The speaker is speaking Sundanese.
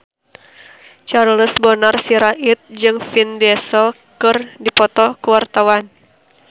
Charles Bonar Sirait jeung Vin Diesel keur dipoto ku wartawan